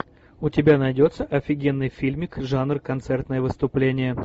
у тебя найдется офигенный фильмик жанр концертное выступление